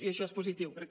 i això és positiu perquè